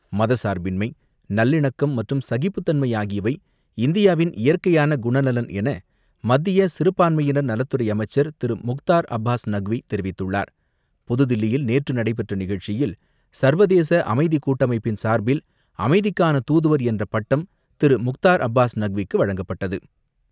மத சார்பின்மை நல்லிணக்கம் மற்றும் சகிப்புத்தன்மை ஆகியவை இந்தியாவின் இயற்கையான குணநலன் என மத்திய சிறுபான்மையினர் நலத்துறை அமைச்சர் திரு முக்தார் அப்பாஸ் நக்வி தெரிவித்துள்ளார். புதுதில்லியில் நேற்று நடைபெற்ற நிகழ்ச்சியில் சர்வதேச அமைதி கூட்டமைப்பின் சார்பில் அமைதிக்கான தூதுவர் என்ற பட்டம் திரு முக்தார் அப்பாஸ் நக்விக்கு வழங்கப்பட்டது.